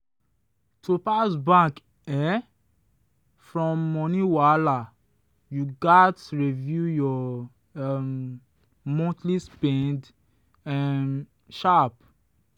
to bounce back um from money wahala you gats review your um monthly spend um sharp.